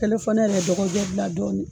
ne fana y'a la dɔgɔjo bila dɔɔnin.